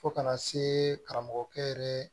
Fo kana see karamɔgɔkɛ yɛrɛ